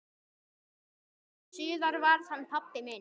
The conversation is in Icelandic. Síðar varð hann pabbi minn.